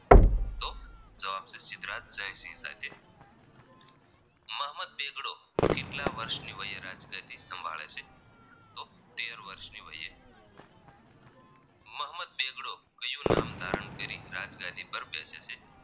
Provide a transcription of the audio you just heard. મહંમદ બેગડો કેટલા વર્ષની વયે રાજગાદી સંભાળે છે તો તેર વર્ષ ની વયે મહંમદ બેગડો કયું નામ ધારણ કરી રાજગાદી પર બેસે છે